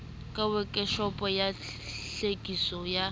ka wekeshopo ya klwetliso ya